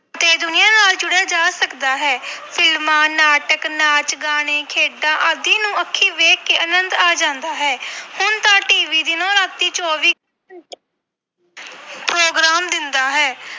ਤੇ ਦੁਨੀਆਂ ਨਾਲ ਜੁੜਿਆ ਜਾ ਸਕਦਾ ਹੈ ਫਿਲਮਾਂ ਨਾਟਕ ਨਾਚ ਗਾਣੇ ਖੇਡਾਂ ਆਦਿ ਨੂੰ ਅੱਖੀ ਵੇਖ ਕੇ ਆਨੰਦ ਆ ਜਾਂਦਾ ਹੈ ਹੁਣ ਤਾਂ TV ਦਿਨੋਂ ਰਾਤੀ ਚੌਵੀ program ਦਿੰਦਾ ਹੈ।